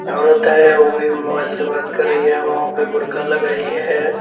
औरत है उ भी मोबाइल से बात कर रही है मुंह पे बुर्का लगाई है।